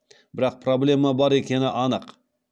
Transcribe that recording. бірақ проблема бар екені анық